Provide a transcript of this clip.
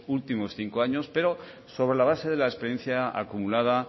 últimos cinco años pero sobre la base de la experiencia acumulada